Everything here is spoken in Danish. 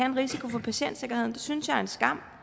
en risiko for patientsikkerheden det synes jeg er en skam